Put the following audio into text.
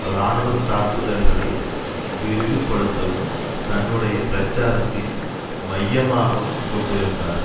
இராணுவ தாக்குதல்களை விரிவுபடுத்தவும் தன்னுடைய பிரச்சாரத்தின் மையமாகவும் கொண்டிருந்தார்